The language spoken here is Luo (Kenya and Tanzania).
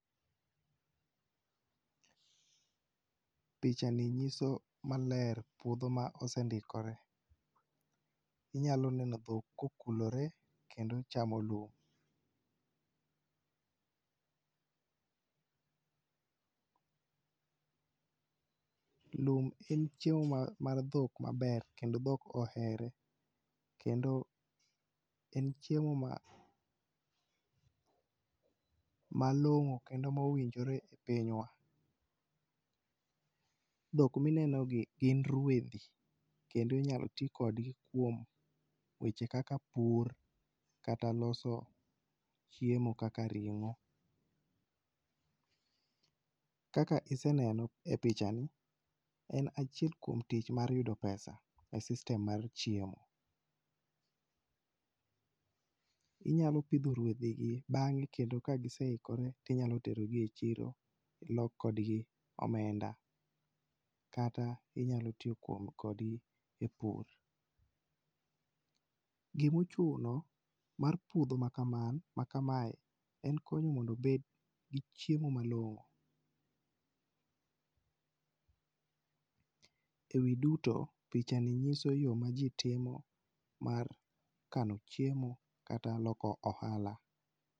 Pichani nyiso maler puodho ma osendikore. Inyalo neno dhok kokulore, kendo chamo lum. Lum en chiemo mar dhok maber kendo dhok ohere kendo en chiemo mamalong'o kendo ma owinjore e pinywa. Dhok ma inenogi gin ruedhi kendo inyalo ti kodgi eweche kaka pur kata loso chiemo kaka ring'o. Kaka iseneno e pichani, en achiel kuom tich mar yudo pesa e system mar chiemo. Inyalo pidho ruedhi gi bang#e kendo ka giseikore to inyalo terogi e chiro loo kodgi omenda kata inyalo tiyo kodgi e pur. Gima ochuno mar puodho makaman makamae en konyo mondo obed gi chiemo malong'o ewi duto pichani nyiso yo maji timo mar kano chiemo kata loko ohala.